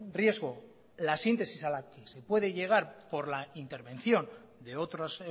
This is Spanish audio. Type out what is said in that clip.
riesgo la síntesis a la que se puede llegar por la intervención de otras